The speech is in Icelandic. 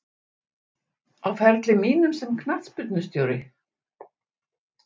Á ferli mínum sem knattspyrnustjóri?